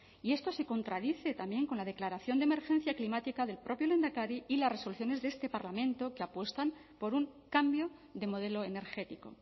y esto se contradice también con la declaración de emergencia climática del propio lehendakari y las resoluciones de este parlamento que apuestan por un cambio de modelo energético